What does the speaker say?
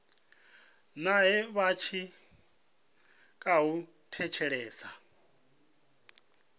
nae vha tshi khou thetshelesa